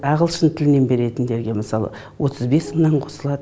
ағылшын тілінен беретіндерге мысалы отыз бес мыңнан қосылады